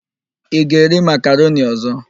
Ị ga-eri makaroni ọ̀zọ́?